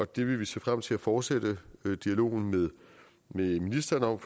det vil vi se frem til at fortsætte dialogen med ministeren om